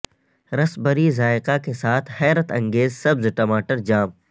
raspberry ذائقہ کے ساتھ حیرت انگیز سبز ٹماٹر جام